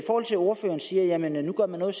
ordføreren siger at man nu gør noget